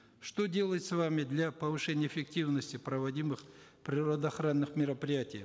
что делается вами для повышения эффективности проводимых природоохранных мероприятий